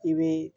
I bɛ